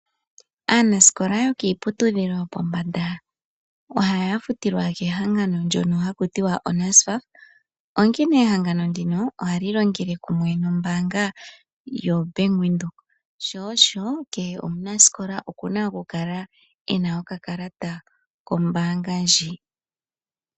Aanasikola yokiiputudhilo yopombanda MoNamibia ohaa futilwa kehangano ndono haku tiwa "NASFAF". Ehangano ndino oha li longele kumwe nombaanga yaVenduka. Kehe omunasikola oku na oku kala ena okakalata kombaanga oyo tuu ndjika.